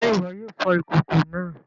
Se iwọ yóò fò ìkòkò náà?